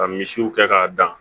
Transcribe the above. Ka misiw kɛ k'a dan